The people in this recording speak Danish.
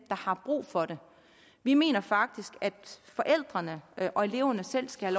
har brug for det vi mener faktisk at forældrene og eleverne selv skal